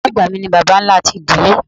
Bàbá àgbà mi ni Bàbá ńlá ti ìdílé.